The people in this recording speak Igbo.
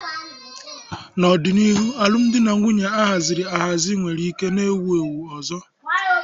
N'ọdịnihu, alụmdi na nwunye a haziri ahazi nwere ike na-ewu ewu ọzọ.